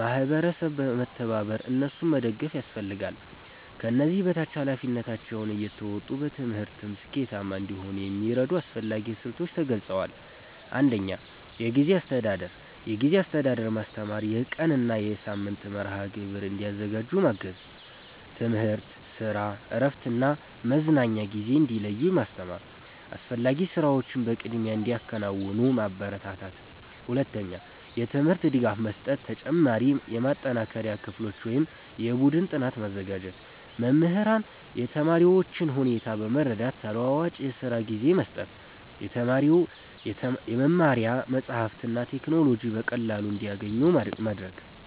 ማህበረሰብ በመተባበር እነሱን መደገፍ ያስፈልጋል። ከዚህ በታች ኃላፊነታቸውን እየተወጡ በትምህርትም ስኬታማ እንዲሆኑ የሚረዱ አስፈላጊ ስልቶች ተገልጸዋል። 1. የጊዜ አስተዳደር ማስተማር የቀን እና የሳምንት መርሃ ግብር እንዲያዘጋጁ ማገዝ። ትምህርት፣ ስራ፣ እረፍት እና መዝናኛ ጊዜ እንዲለዩ ማስተማር። አስፈላጊ ስራዎችን በቅድሚያ እንዲያከናውኑ ማበረታታት። 2. የትምህርት ድጋፍ መስጠት ተጨማሪ የማጠናከሪያ ክፍሎች ወይም የቡድን ጥናት ማዘጋጀት። መምህራን የተማሪዎቹን ሁኔታ በመረዳት ተለዋዋጭ የስራ ጊዜ መስጠት። የመማሪያ መጻሕፍትና ቴክኖሎጂ በቀላሉ እንዲያገኙ ማድረግ።